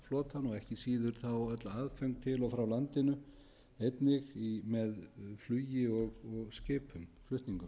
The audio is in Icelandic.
nefna fiskiskipaflotann og ekki síður þá öll aðföng til og frá landinu einnig með flugi og skipum flutningum